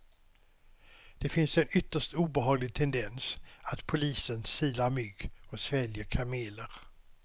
Det finns en ytterst obehaglig tendens att polisen silar mygg och sväljer kameler.